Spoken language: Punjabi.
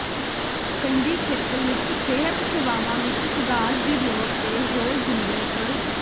ਕੰਢੀ ਖੇਤਰ ਵਿੱਚ ਸਿਹਤ ਸੇਵਾਵਾਂ ਵਿੱਚ ਸੁਧਾਰ ਦੀ ਲੋੜ ਤੇ ਜ਼ੋਰ ਦਿੰਦਿਆਂ ਸ